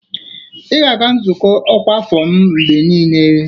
Ị ga-aga nzukọ ọkwa afọ m mgbe niile